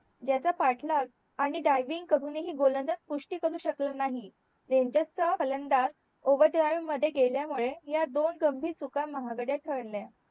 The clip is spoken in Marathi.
ज्याचा पाठलाग आणि डायविंग करून हि गोलंदाज पुष्टी करू शकले नाही रेंजर चा फलंदाज ओव्हर ड्राईव्ह मध्ये गेल्या मुळे ह्या दोन गंभीर चुका महागड्या ठरल्या